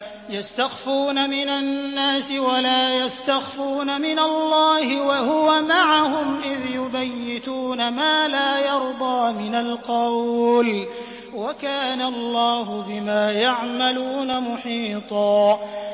يَسْتَخْفُونَ مِنَ النَّاسِ وَلَا يَسْتَخْفُونَ مِنَ اللَّهِ وَهُوَ مَعَهُمْ إِذْ يُبَيِّتُونَ مَا لَا يَرْضَىٰ مِنَ الْقَوْلِ ۚ وَكَانَ اللَّهُ بِمَا يَعْمَلُونَ مُحِيطًا